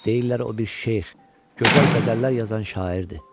Deyirlər o bir şeyx, gözəl qəzəllər yazan şairdir.